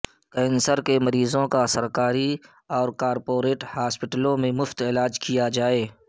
cancer کے مریضوں کا سرکاری اور کارپوریٹ ہاسپٹلوں میں مفت علاج کیا جائے